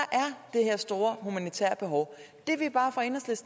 er det her store humanitære behov